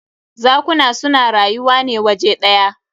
Zakuna su na rayuwa ne waje ɗya.